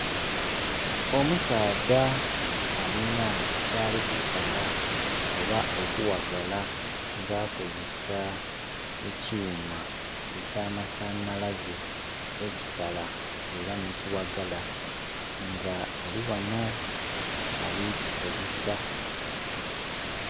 Omusaadha alina kyalikusala oba okughagala nga akozesa ekyuma eky'amasanhalaze ekisala era ne kighagala nga alighano ali kikozesa.